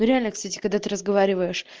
ну реально кстати когда ты разговариваешь